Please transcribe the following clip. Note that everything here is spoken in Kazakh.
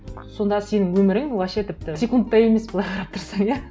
сонда сенің өмірің вообще тіпті секунд та емес былай қарап тұрсаң иә